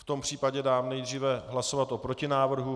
V tom případě dám nejdříve hlasovat o protinávrhu.